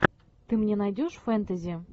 ты мне найдешь фэнтези